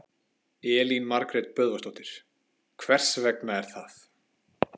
Elín Margrét Böðvarsdóttir: Hvers vegna er það?